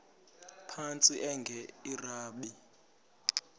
phantsi enge lrabi